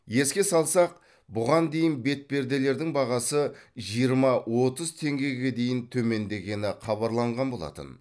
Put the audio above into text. еске салсақ бұған дейін бетперделердің бағасы жиырма отыз теңгеге дейін төмендегені хабарланған болатын